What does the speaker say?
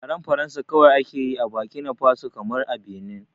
Yaren Faransa kawai ake yi a bakina faso kamar a Binin